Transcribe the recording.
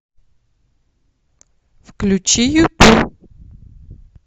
включи юту